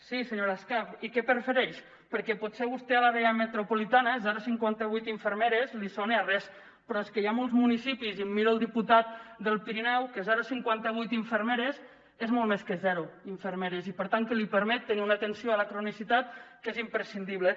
sí senyora escarp i què prefereix perquè potser vostè a l’àrea metropolitana zero coma cinquanta vuit infermeres li sona a res però és que hi ha molts municipis i em miro el diputat del pirineu que zero coma cinquanta vuit infermeres és molt més que zero infermeres i per tant que li permet tenir una atenció a la cronicitat que és imprescindible